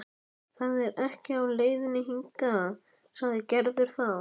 Það er ekkert í leiðinni hingað, sagði Gerður þá.